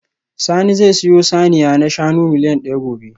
Sani zai sayo saniya na shanu miliyan daya gobe